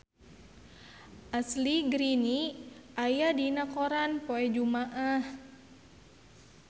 Ashley Greene aya dina koran poe Jumaah